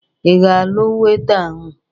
Ị ga-alụ Weita ahụ?